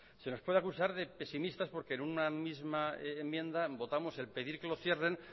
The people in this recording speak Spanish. se nos puede acusar de pesimistas porque en una misma enmienda votamos el pedir que lo cierren